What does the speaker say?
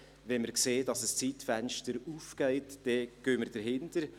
Wenn wir sehen, dass ein Zeitfenster aufgeht, dann gehen wir dahinter.